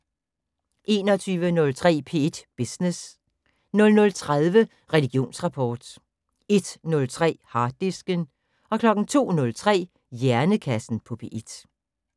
21:03: P1 Business 00:30: Religionsrapport 01:03: Harddisken 02:03: Hjernekassen på P1